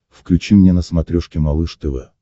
включи мне на смотрешке малыш тв